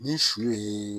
Ni su yee